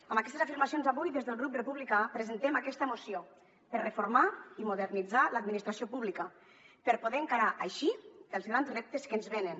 amb aquestes afirmacions avui des del grup republicà presentem aquesta moció per reformar i modernitzar l’administració pública per poder encarar així els grans reptes que ens venen